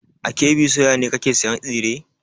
A KB soya ne kake sayan tsire?